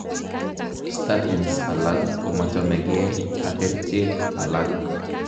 Statins alak komachomekee ak kercheek alak